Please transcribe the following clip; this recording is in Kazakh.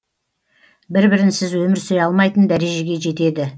бір бірінсіз өмір сүре алмайтын дәрежеге жетеді